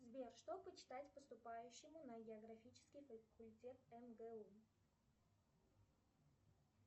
сбер что почитать поступающему на географический факультет мгу